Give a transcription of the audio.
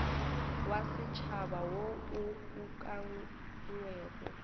wa setšhaba wo o ukangwego